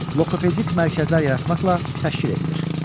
Loqopedik mərkəzlər yaratmaqla təşkil edilir.